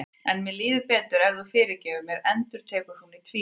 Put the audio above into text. En mér líður betur ef þú fyrirgefur mér, endurtekur hún í tvígang.